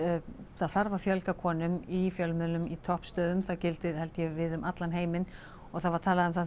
það þarf að fjölga konum í fjölmiðlum í toppstöðum það gildir held ég við um allan heiminn og það var talað um það